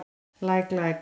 Læk læk.